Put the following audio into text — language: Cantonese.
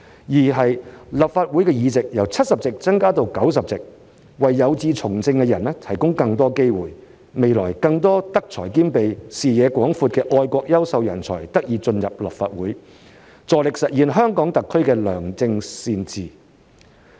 二，立法會議席由70席增至90席，為有志從政的人提供更多機會，未來更多德才兼備、視野廣闊的愛國優秀人才得以進入立法會，助力實現香港特區的良政善治。